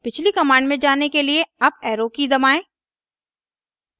पिछली कमांड में जाने के लिए अप एरो की दबाएं